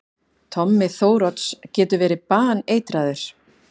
Tommi Þórodds getur verið baneitraður!